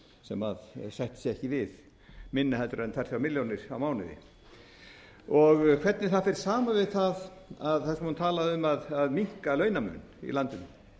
sem sættir sig ekki við minna en tvö til þrjár milljónir á mánuði hvernig það fer saman við það þar sem hún talaði um að minnka launamun í landinu